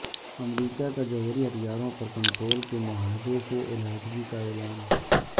امریکہ کا جوہری ہتھیاروں پر کنٹرول کے معاہدے سے علیحدگی کا اعلان